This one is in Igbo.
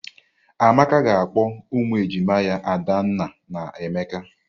Amaka ga-akpọ ụmụ ejima ya Adanna na Emeka.